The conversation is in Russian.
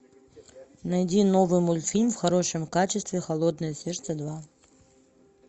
найди новый мультфильм в хорошем качестве холодное сердце два